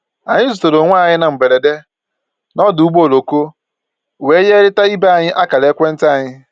Anyị zutere onwe anyị na mgberede na ọdụ ụgbọ oloko wee nyerịta ibe anyị akara ekwentị anyị